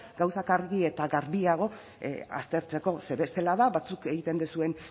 gauzak argi eta garbiago aztertzeko ze bestela da batzuk egiten duzuen